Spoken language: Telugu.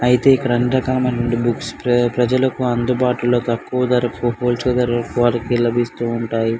అయితే ఇక్కడ అన్ని రకాల బుక్స్ ప్ర ప్రజలకు అందుబాటులో తక్కువ ధరకు వారికి లభిస్తూ ఉంటాయి.